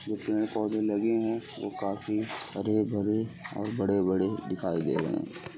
जो पेड़ पौधे लगे हैं। वो काफी हरे भरे और बड़े-बड़े दिखाई दे रहे हैं।